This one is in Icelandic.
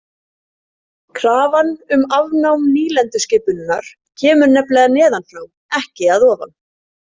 Krafan um afnám nýlenduskipunarinnar kemur nefnilega neðan frá ekki að ofan.